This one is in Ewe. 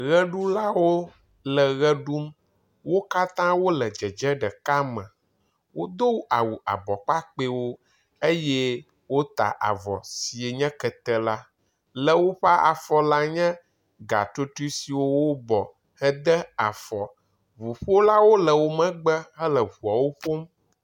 Ʋeɖulawo le ʋe ɖum, wo katã wole dzedze ɖeka me. Wodo awu abɔ kpakpɛwo eye wota avɔ si nye kete la, le woƒe afɔ la nye gatotroe siwo wobɔ hede afɔ. Ŋuƒolawo le wo megbe hele ŋuawo ƒom.